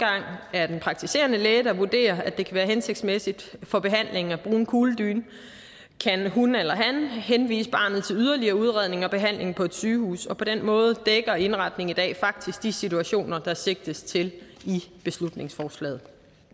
er den praktiserende læge der vurderer at det kan være hensigtsmæssigt for behandlingen at bruge en kugledyne kan hun eller han henvise barnet til yderligere udredning og behandling på et sygehus og på den måde dækker indretningen i dag faktisk de situationer der sigtes til i beslutningsforslaget